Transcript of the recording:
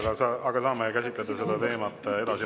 Teie aeg, aga saame käsitleda seda teemat edasi.